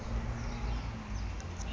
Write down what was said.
devoted its newly